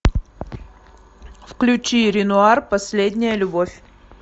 включи ренуар последняя любовь